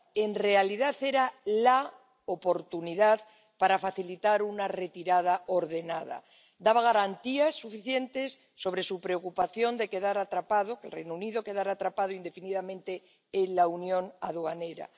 En realidad, era la oportunidad para facilitar una retirada ordenada daba garantías suficientes sobre la preocupación del Reino Unido de quedar atrapado indefinidamente en la Unión Aduanera.